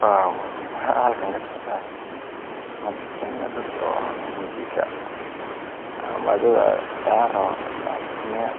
Halkan waxaa kasocdaa dadkan waa dad wajiga ama dad daanta ciyaari